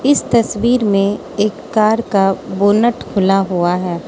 इस तस्वीर में एक कार का बोनट खुला हुआ है।